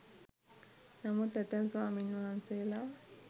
නමුත් ඇතැම් ස්වාමීන් වහන්සේලා